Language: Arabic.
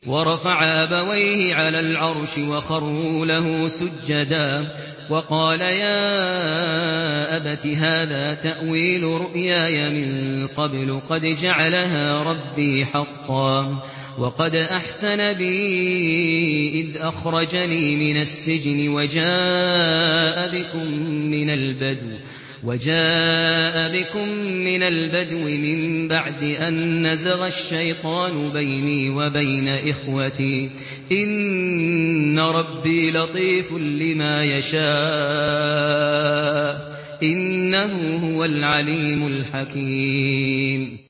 وَرَفَعَ أَبَوَيْهِ عَلَى الْعَرْشِ وَخَرُّوا لَهُ سُجَّدًا ۖ وَقَالَ يَا أَبَتِ هَٰذَا تَأْوِيلُ رُؤْيَايَ مِن قَبْلُ قَدْ جَعَلَهَا رَبِّي حَقًّا ۖ وَقَدْ أَحْسَنَ بِي إِذْ أَخْرَجَنِي مِنَ السِّجْنِ وَجَاءَ بِكُم مِّنَ الْبَدْوِ مِن بَعْدِ أَن نَّزَغَ الشَّيْطَانُ بَيْنِي وَبَيْنَ إِخْوَتِي ۚ إِنَّ رَبِّي لَطِيفٌ لِّمَا يَشَاءُ ۚ إِنَّهُ هُوَ الْعَلِيمُ الْحَكِيمُ